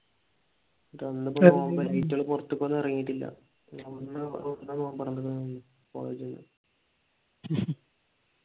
പൊറത്തുപോലും പോലും ഇറങ്ങിയിട്ടില്ല